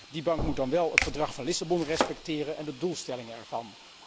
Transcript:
Die bank moet dan wel het Verdrag van Lissabon respecteren en de doelstellingen ervan.